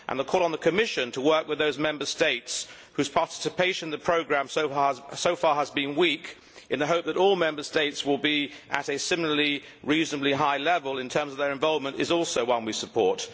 The call on the Commission to work with those Member States whose participation in the programme so far has been weak, in the hope that all Member States will be at a similarly reasonably high level in terms of their involvement, is also one we support.